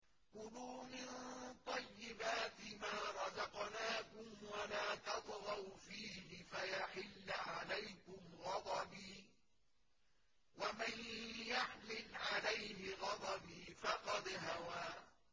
كُلُوا مِن طَيِّبَاتِ مَا رَزَقْنَاكُمْ وَلَا تَطْغَوْا فِيهِ فَيَحِلَّ عَلَيْكُمْ غَضَبِي ۖ وَمَن يَحْلِلْ عَلَيْهِ غَضَبِي فَقَدْ هَوَىٰ